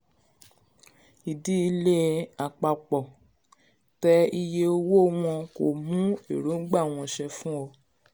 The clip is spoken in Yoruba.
ìdí ilé àpapọ̀ tẹ iye owó wọn kò mú èròǹgbà wọn ṣẹ fún ọ